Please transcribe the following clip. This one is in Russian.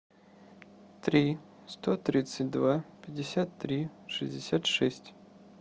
три сто тридцать два пятьдесят три шестьдесят шесть